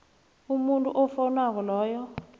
umuntu ofowunako loyo